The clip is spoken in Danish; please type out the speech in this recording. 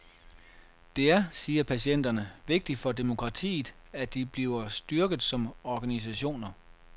Det er, siger partierne, vigtigt for demokratiet, at de bliver styrket som organisationer.